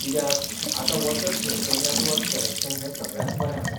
कित्याक आतां वचत थंयसर नेटवर्क कनेक्शन हें सगळ्यांत बरें आसा.